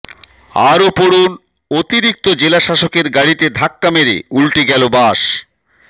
আরও পড়ুন অতিরিক্ত জেলাশাসকের গাড়িতে ধাক্কা মেরে উল্টে গেল বাস